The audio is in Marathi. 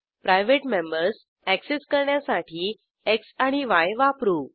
प्रायव्हेट मेंबर्स अॅक्सेस करण्यासाठी एक्स आणि य वापरू